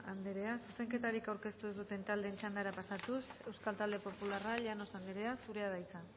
anderea zuzenketarik aurkeztu dituzten taldeen txandara pasatuz euskal talde popularra llanos anderea zurea da hitza